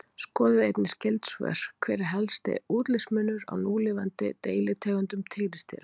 Skoðið einnig skyld svör: Hver er helsti útlitsmunur á núlifandi deilitegundum tígrisdýra?